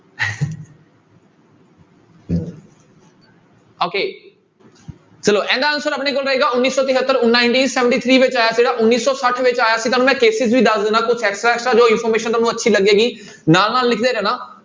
okay ਚਲੋ ਇਹਦਾ answer ਆਪਣੇ ਕੋਲ ਰਹੇਗਾ ਉੱਨੀ ਸੌ ਤਹੇਤਰ nineteen seventy three ਵਿੱਚ ਆਇਆ ਸੀਗਾ, ਉੱਨੀ ਸੌ ਸੱਠ ਵਿੱਚ ਆਇਆ ਸੀ ਤੁਹਾਨੂੰ ਮੈਂ ਵੀ ਦੱਸ ਦਿਨਾ ਕੁਛ extra extra ਜੋ information ਤੁਹਾਨੂੂੰ ਅੱਛੀ ਲੱਗੇਗੀ ਨਾਲ ਨਾਲ ਲਿਖਦੇ ਜਾਣਾ।